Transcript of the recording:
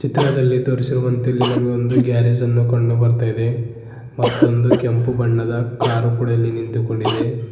ಚಿತ್ರದಲ್ಲಿ ತೋರಿಸಿರುವಂತೆ ಇಲ್ಲಿ ನಮಗೊಂದು ಗ್ಯಾರೇಜ್ ಅನ್ನು ಕಂಡು ಬರ್ತಾ ಇದೆ ಮತ್ತೊಂದು ಕೆಂಪು ಬಣ್ಣದ ಕಾರು ಕೊಡ ಇಲ್ಲಿ ನಿಂತುಕೊಂಡಿದೆ.